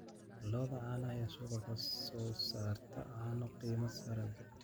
Lo'da caanaha ayaa suuqa ka soo saarta caano qiimo sare leh.